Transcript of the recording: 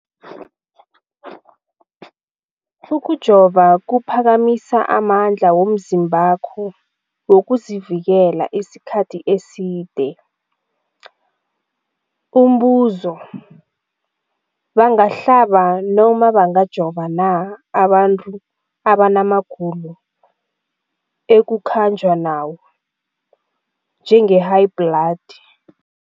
Ukujova kuphakamisa amandla womzimbakho wokuzivikela isikhathi eside. Umbuzo, bangahlaba, bangajova na abantu abanamagulo ekukhanjwa nawo, njengehayibhladi?